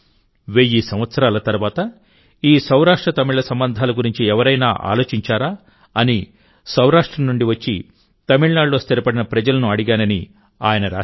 వెయ్యి సంవత్సరాల తర్వాత ఈ సౌరాష్ట్రతమిళ సంబంధాల గురించి ఎవరైనా ఆలోచించారా అని సౌరాష్ట్ర నుండి వచ్చి తమిళనాడులో స్థిరపడిన ప్రజలను అడిగానని ఆయన రాశారు